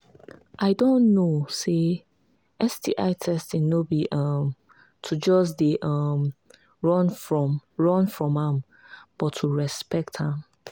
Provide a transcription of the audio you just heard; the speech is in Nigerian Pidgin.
i don know say sti testing no be um to just they um run from run from am but to respect am